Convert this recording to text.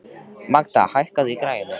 Magda, hækkaðu í græjunum.